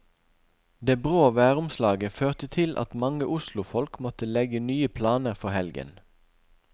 Det brå væromslaget førte til at mange oslofolk måtte legge nye planer for helgen.